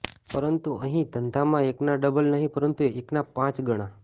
પરંતુ અહિ આ ધંધામાં એકના ડબલ નહી પરંતુ એકના પાંચ ગણા